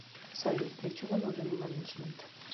салют для чего нужен менеджмент